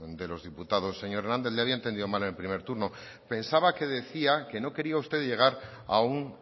de los diputados señor hernández le había entendido mal en el primer turno pensaba que decía que no quería usted llegar a un